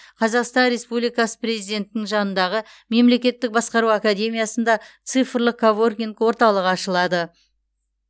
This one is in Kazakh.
қазақстан республикасы президентінің жанындағы мемлекеттік басқару академиясында цифрлық коворкинг орталығы ашылады